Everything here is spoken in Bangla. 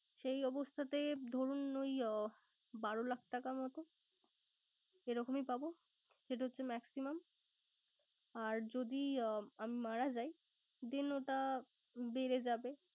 সেই অবস্থাতে ধরুন ওই আহ বারো লাখ টাকা মত সেরকমই পাবো। সেটা হচ্ছে maximum আর যদি আমি মারা যাই, then ওটা বেড়ে যাবে।